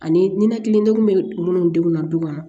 Ani ninakilidenw be minnu denw na du kɔnɔ